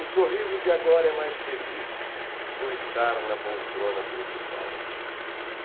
O sorriso de agora é mais feliz por estar na poltrona principal.